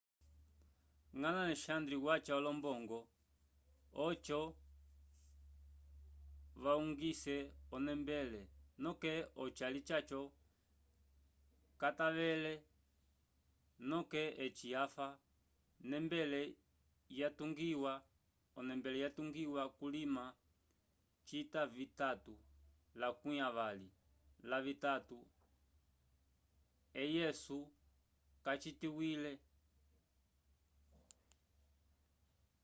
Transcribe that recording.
ngãla alexandre wacha olombongo ojo vayugise o nembele noke ojali jacho kaytavele noke eci afa o nembele yatugiwa kulima cita vitatu lakwi avali lavitatu ec yesu kacitikwile